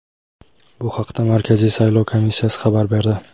Bu haqda Markaziy saylov komissiyasi xabar berdi.